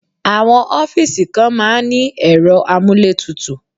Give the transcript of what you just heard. Àwọn ọ́fíìsì kan máa ń ní ẹ̀rọ amúlétutù.